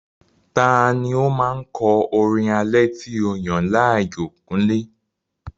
Ta ni ó máa ń kọ orin alẹ́ tí o yàn láàyò, kúnlé?